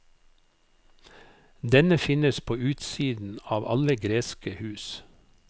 Denne finnes på utsiden av alle greske hus.